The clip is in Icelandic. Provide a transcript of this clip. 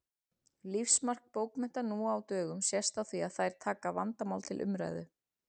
Lífsmark bókmennta nú á dögum sést á því að þær taka vandamál til umræðu.